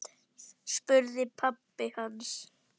spurði pabbi hans.